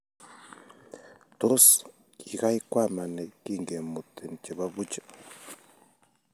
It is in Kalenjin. Tos, kigaikwamani kingemutin chebo buch?